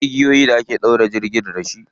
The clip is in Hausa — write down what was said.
Akwai igiyoyin da ake ɗaure jirgi da shi.